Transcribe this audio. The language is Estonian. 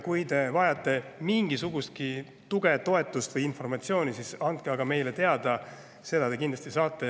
Kui te vajate mingisugustki tuge, toetust või informatsiooni, siis andke aga meile teada, seda te kindlasti saate.